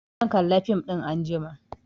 Zan kalla fim ɗin anjima